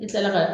I sera ka